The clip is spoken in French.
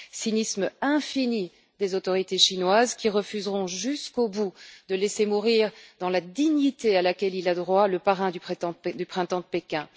Cynisme infini des autorités chinoises qui refuseront jusqu'au bout de laisser mourir dans la dignité à laquelle il a droit le parrain du Printemps de Pékin.